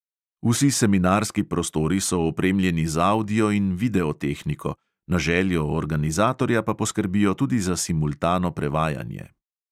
Vsi seminarski prostori so opremljeni z avdio- in videotehniko, na željo organizatorja pa poskrbijo tudi za simultano prevajanje.